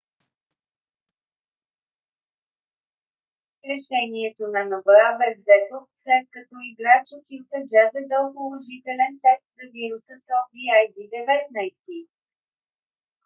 решението на нба бе взето след като играч от юта джаз е дал положителен тест за вируса covid-19